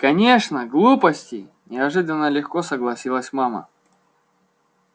конечно глупости неожиданно легко согласилась мама